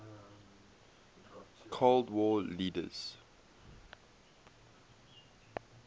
cold war leaders